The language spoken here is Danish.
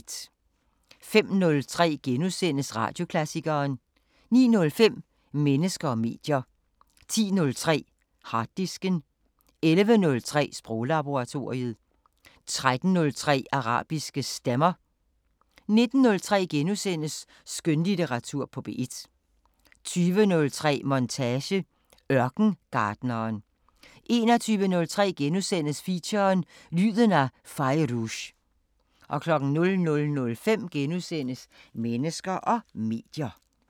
05:03: Radioklassikeren * 09:05: Mennesker og medier 10:03: Harddisken 11:03: Sproglaboratoriet 13:03: Arabiske Stemmer 19:03: Skønlitteratur på P1 * 20:03: Montage: Ørkengartneren 21:03: Feature: Lyden af Fairuz * 00:05: Mennesker og medier *